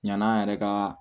Ɲani an yɛrɛ ka